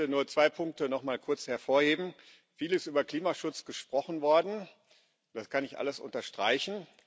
Ich möchte nur zwei Punkte nochmal kurz hervorheben Viel ist über Klimaschutz gesprochen worden, das kann ich alles unterstreichen.